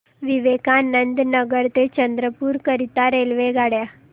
विवेकानंद नगर ते चंद्रपूर करीता रेल्वेगाड्या